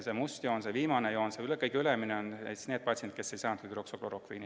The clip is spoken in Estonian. See must, viimane joon – see kõige ülemine – tähistab neid patsiente, kes ei saanud hüdroksüklorokviini.